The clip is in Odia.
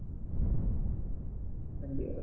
MBA ରେ